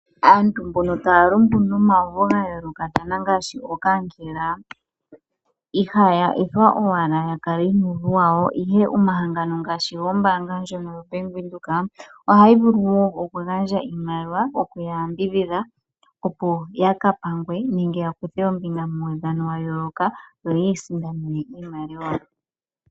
Aantu taya mbono taya lumbu nomawuvu ga yoolokathana ngaashi okankela ihaya ethwa owala ya kale nuuvu wawo ihe omahangano ngaashi gombaanga ndjono yo Bank Windhoek ohayi vulu oku gandja oshimaliwa okuya yambidhidha opo yaka pangwe nenge ya kuthe ombinga mo mawudhano ga yooloka yoyi isindanene iimaliwa.